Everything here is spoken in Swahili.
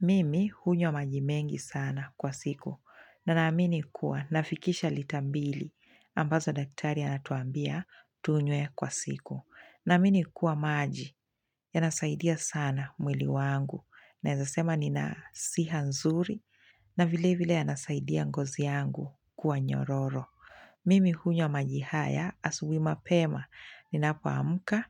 Mimi hunywa majimengi sana kwa siku na naamini kuwa nafikisha litambili ambazo daktari anatuambia tunywe kwa siku. Naamini kuwa maji ya nasaidia sana mwili wangu naezasema nina siha nzuri na vile vile ya nasaidia ngozi yangu kuwa nyororo. Mimi hunywa majihaya asubui ma pema ni napoamka